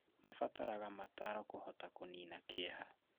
Mabataraga mataro kũhota kũnina kĩeha